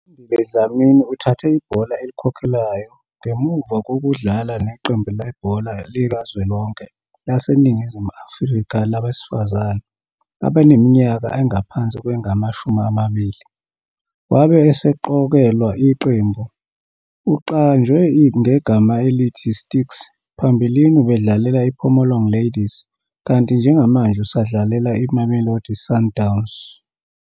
U-Andile Dlamini uthathe ibhola elikhokhelayo ngemuva kokudlala neqembu lebhola likazwelonke laseNingizimu Afrika labesifazane abaneminyaka engaphansi kwengamashumi amabili, wabe eseqokelwa iqembu. Uqanjwe ngegama elithi "Sticks", phambilini ubedlalela iPhomolong Ladies, kanti njengamanje usadlalela iMamelodi Sundowns.